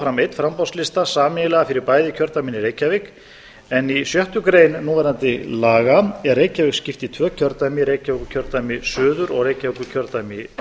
fram einn framboðslista sameiginlega fyrir bæði kjördæmin í reykjavík en í sjöttu grein núverandi laga er reykjavík skipt í tvö kjördæmi reykjavíkurkjördæmi suður og reykjavíkurkjördæmi